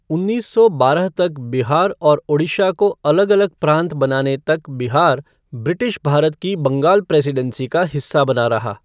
उन्नीस सौ बारह तक बिहार और ओड़िशा को अलग अलग प्रांत बनाने तक बिहार ब्रिटिश भारत की बंगाल प्रेसीडेंसी का हिस्सा बना रहा।